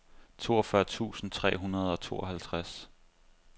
toogfyrre tusind tre hundrede og tooghalvtreds